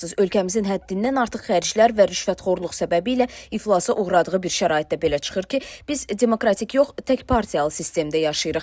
Ölkəmizin həddindən artıq xərclər və rüşvətxorluq səbəbilə iflasa uğradığı bir şəraitdə belə çıxır ki, biz demokratik yox, tək partiyalı sistemdə yaşayırıq.